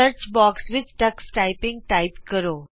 search box ਵਿਚ text typing type ਕਰੋ